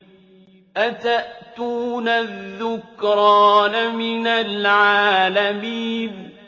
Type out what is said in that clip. أَتَأْتُونَ الذُّكْرَانَ مِنَ الْعَالَمِينَ